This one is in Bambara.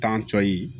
Tan cɔyi